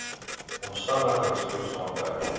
omstandigheids toets aandui